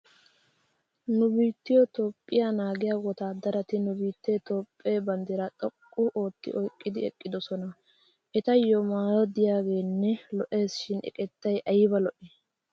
Nu biittiyo toophphiyo naagiya wottaadarati nu biittee toophphee bandiraa xoqqu ootti oyiqqidi eqqidosona. Etayo maayo diyaageenne lo'es shin eqettay ayiba lo'i!